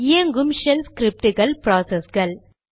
இயங்கும் ஷெல் ஸ்கிரிப்டுகள் ப்ராசஸ்கள்